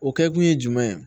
O kɛkun ye jumɛn ye